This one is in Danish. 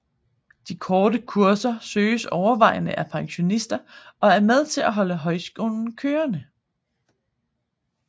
De korte kurser søges overvejende af pensionister og er med til at holde højskolen kørende